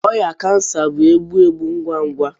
ọrịa kansa bụ egbu egbu ngwa ngwa.